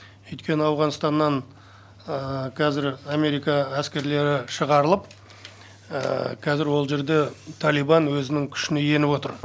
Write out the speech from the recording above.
өйткені ауғанстаннан қазір америка әскерлері шығарылып қазір ол жерде талибан өзінің күшіне еніп отыр